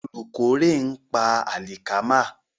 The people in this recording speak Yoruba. Olùkórè ń pa àlìkámà.